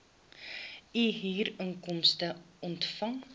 u huurinkomste ontvang